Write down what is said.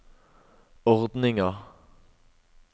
ordninga